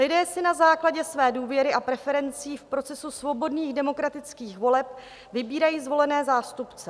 Lidé si na základě své důvěry a preferencí v procesu svobodných demokratických voleb vybírají zvolené zástupce.